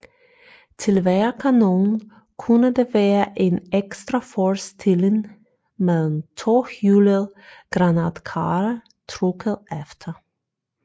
Til hver kanon kunne der være en ekstra forstilling med en tohjulet granatkarre trukket efter